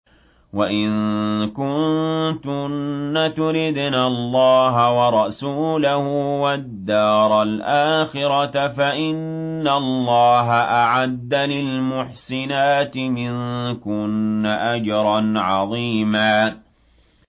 وَإِن كُنتُنَّ تُرِدْنَ اللَّهَ وَرَسُولَهُ وَالدَّارَ الْآخِرَةَ فَإِنَّ اللَّهَ أَعَدَّ لِلْمُحْسِنَاتِ مِنكُنَّ أَجْرًا عَظِيمًا